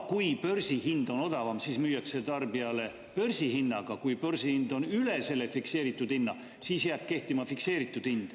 Kui börsihind on odavam, siis müüakse tarbijale börsihinnaga, kui börsihind on üle selle fikseeritud hinna, siis jääb kehtima fikseeritud hind.